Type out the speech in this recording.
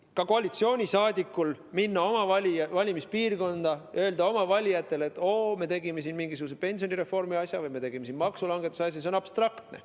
Kui ka koalitsiooni liige läheb oma valimispiirkonda ja ütleb oma valijatele, et oo, me tegime mingisuguse pensionireformi asja või maksulangetuse asja, siis see on abstraktne.